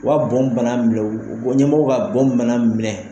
O ka bɔn bana bila o ɲɛmɔgɔw ka bɔn bana minɛ